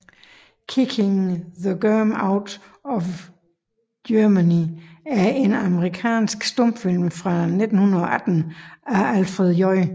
Kicking the Germ Out of Germany er en amerikansk stumfilm fra 1918 af Alfred J